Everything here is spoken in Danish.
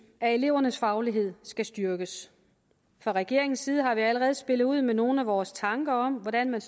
at elevernes faglighed skal styrkes fra regeringens side har vi allerede spillet ud med nogle af vores tanker om hvordan man